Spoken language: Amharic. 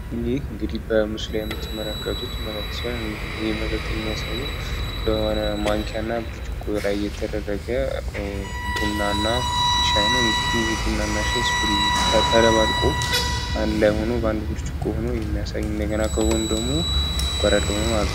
ይህ እንግዲህ በሙስላ የምትመረከቱት መጋልት ሲሆን ይህ መጠጥ የሚያሳየው በሆነ ማንኪያ እና ብርጭቆ ላይ የተደረገ ቡናና ሻይ ነው። እንግዲህ ይህ ቡናና ሻይ ስፕሩግ ተደባልቁ በንድ ላይሆኖ በአንድ ብርጭቁ ሆኖ የሚያሳይ እንደገና ከቦ እንደግሞ ስጓረ ልደሆመም አለት።